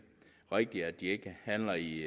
rigtigt og at de ikke handler i